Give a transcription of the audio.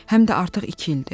Həm də artıq iki ildir.